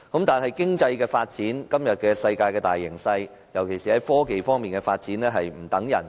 但是，經濟發展和世界大形勢，尤其是科技發展方面，卻是"不等人"的。